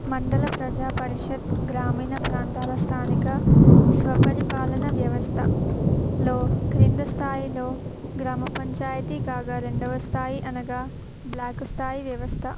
మండల ప్రజా పరిషత్ గ్రామీణ ప్రాంతాల స్థానిక స్వపరిపాలన వ్యవస్థ లో కింది స్థాయిలో గ్రామ పంచాయతీ కాగా రెండవది స్థాయి అనగా స్థాయి వ్యవస్థ--